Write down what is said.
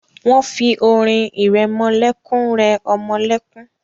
Wọ́n fi orin ìrẹmọlẹ́kún rẹ ọmọ lẹ́kún.